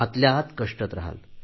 आतल्या आत कष्टत रहाल